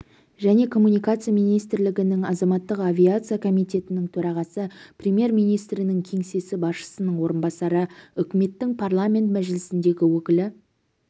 және коммуникация министрлігінің азаматтық авиация комитетінің төрағасы премьер-министрінің кеңсесі басшысының орынбасары үкіметтің парламент мәжілісіндегі өкілі